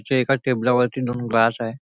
इथे एका टेबला वरती दोन ग्लास आहे.